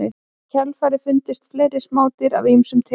Í kjölfarið fundust fleiri smádýr af ýmsum tegundum.